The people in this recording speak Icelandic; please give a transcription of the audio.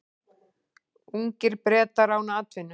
Ungir Bretar án atvinnu